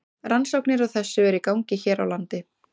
Rannsóknir á þessu eru í gangi hér á landi.